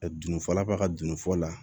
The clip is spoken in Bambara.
Dunfɔla fa ka dunnifɔ la